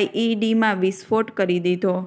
આઇઇડીમાં વિસ્ફોટ કરી દીધો